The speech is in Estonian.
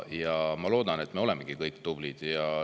Ja ma loodan, et me olemegi kõik tublid.